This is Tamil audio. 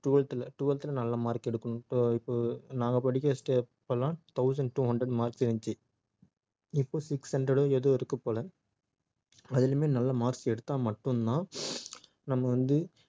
twelth ல twelfth ல நல்ல mark எடுக்கணும் இப்ப~ இப்போ நாங்க படிச்ச ஸ்டே~ அப்பலாம் thousand two hundred marks இருந்துச்சி இப்போ six hundred ஓ ஏதோ இருக்கு போல அதுலயுமே நல்ல marks எடுத்தா மட்டும் தான் நம்ம வந்து